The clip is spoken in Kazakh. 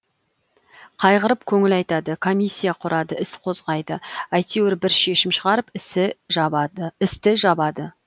қайғырып көңіл айтады комиссия құрады іс қозғайды әйтеуір бір шешім шығарып істі жабады